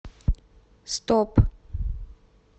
стоп